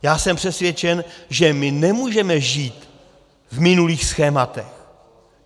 Já jsem přesvědčen, že my nemůžeme žít v minulých schématech.